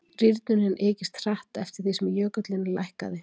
Rýrnunin ykist hratt eftir því sem jökullinn lækkaði.